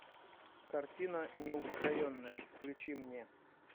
картина неупокоенная включи мне